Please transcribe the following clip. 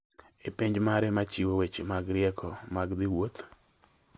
e pej mare ma chiwo weche mag rieko mag dhi wuoth